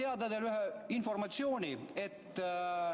Aga ma annan teile teada informatsiooni.